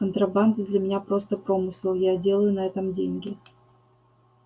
контрабанда для меня просто промысел я делаю на этом деньги